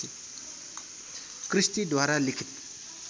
क्रिस्टीद्वारा लिखित